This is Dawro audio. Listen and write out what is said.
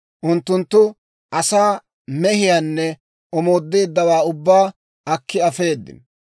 Unttunttu asaa, mehiyaanne omoodeeddawaa ubbaa akki afeedino.